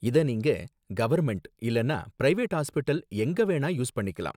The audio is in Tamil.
இத நீங்க கவர்ன்மெண்ட் இல்லனா பிரைவேட் ஹாஸ்ப்பிடல் எங்க வேணா யூஸ் பண்ணிக்கலாம்